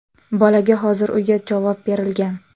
Bolaga hozir uyga javob berilgan.